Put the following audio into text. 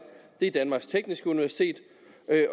det er danmarks tekniske universitet